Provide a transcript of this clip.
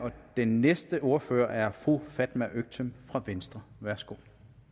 og den næste ordfører er fru fatma øktem fra venstre værsgo